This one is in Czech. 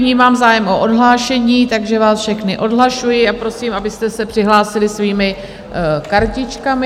Vnímám zájem o odhlášení, takže vás všechny odhlašuji a prosím, abyste se přihlásili svými kartičkami.